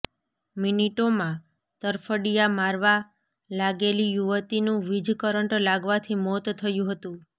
મિનિટોમાં તરફડિયા મારવા લાગેલી યુવતીનું વીજકરંટ લાગવાથી મોત થયું હતું